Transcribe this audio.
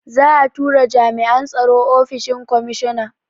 Za'a tura jami'an tsaro ofishin komishona.